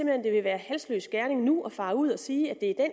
hen det vil være halsløs gerning nu at fare ud og sige at det er